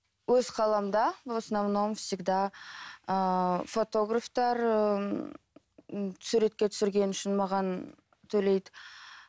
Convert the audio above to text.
өз қаламда в основном всегда ыыы фотографтар ыыы суретке түсірген үшін маған төлейді